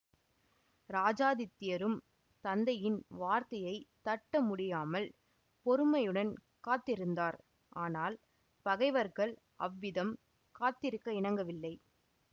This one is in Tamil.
இராஜாதித்யரும் தந்தையின் வார்த்தையைத் தட்ட முடியாமல் பொறுமையுடன் காத்திருந்தார் ஆனால் பகைவர்கள் அவ்விதம் காத்திருக்க இணங்கவில்லை